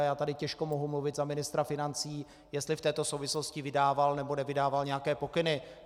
A já tady těžko mohu mluvit za ministra financí, jestli v této souvislosti vydával, nebo nevydával nějaké pokyny.